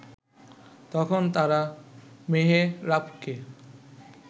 তখন তারা মেহেরাবকে